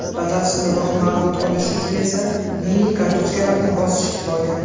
Batafsilroq ma’lumot olish uchun esa, mini kartochkalarni bosish kifoya.